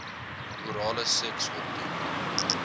orale seks opdoen